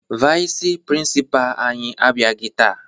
Vayịs prịnsịpaa anyị abịaghị taa